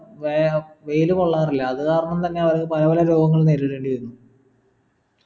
വ്യായാമം വെയിൽ കൊള്ളാറില്ല അതുകാരണം തന്നെ അവർ പലപല രോഗങ്ങളും നേരിടേണ്ടി വരുന്നു